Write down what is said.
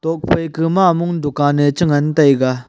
ga phaI ka mamong dukan a chI ngan taiga.